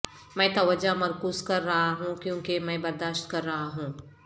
میں توجہ مرکوز کر رہا ہوں کیونکہ میں برداشت کر رہا ہوں